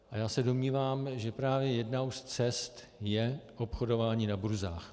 A já se domnívám, že právě jednou z cest je obchodování na burzách.